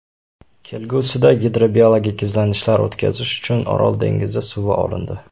Kelgusida gidrobiologik izlanishlar o‘tkazish uchun Orol dengizi suvi olindi.